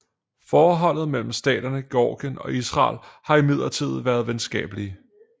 Forholdet mellem staterne Georgien og Israel har imidlertid været venskabelige